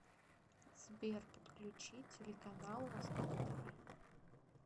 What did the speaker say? сбер подключи телеканал восток тв